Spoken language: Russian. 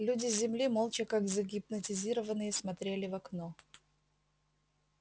люди с земли молча как загипнотизированные смотрели в окно